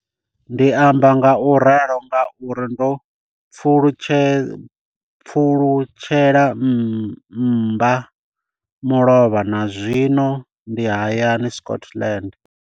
Ndi amba ngauralo nga uri ndo pfulutshela mmba mulovha na zwino ndi hayani, Scotland.